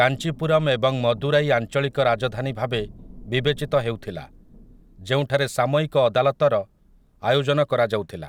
କାଞ୍ଚିପୁରମ୍ ଏବଂ ମଦୁରାଇ ଆଂଚଳିକ ରାଜଧାନୀ ଭାବେ ବିବେଚିତ ହେଉଥିଲା, ଯେଉଁଠାରେ ସାମୟିକ ଅଦାଲତର ଆୟୋଜନ କରାଯାଉଥିଲା ।